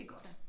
Det godt